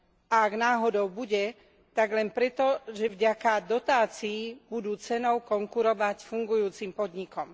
A ak náhodou bude, tak len preto, že vďaka dotácií budú cenou konkurovať fungujúcim podnikom.